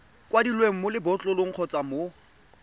kwadilweng mo lebotlolong kgotsa mo